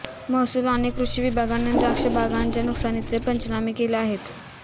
महसूल आणि कृषि विभागाने द्राक्षबागांच्या नुकसानीचे पंचनामे केले आहेत